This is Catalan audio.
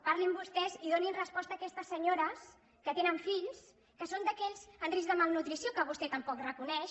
parlin vostès i donin resposta a aquestes senyores que tenen fills i són d’aquells amb risc de malnutrició que vostè tampoc reconeix